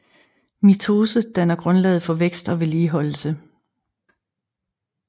Mitose danner grundlaget for vækst og vedligeholdelse